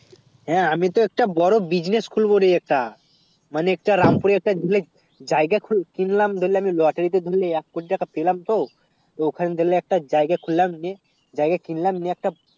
হেঁ আমি তো একটা বোরো business খুলবো রে একটা মানে একটা রামপুরে একটা জায়গা কিনলাম ধরলে আমি lottery তে ধরলে এক কোটি টাকা পেলাম তো ওখানে গিয়ে কেটে জায়গা খুললাম নিয়ে জায়গা কিনলাম নিয়ে একটা